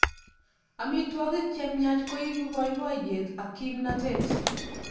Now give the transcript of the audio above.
Amitwogik che miach koipu boiboiyet ak kimnatet